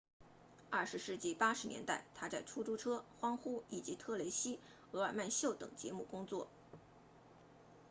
20世纪80年代他在出租车欢呼以及特蕾西厄尔曼秀等节目工作